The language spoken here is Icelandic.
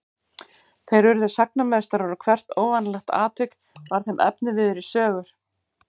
Þeir urðu sagnameistarar og hvert óvanalegt atvik varð þeim efniviður í sögur.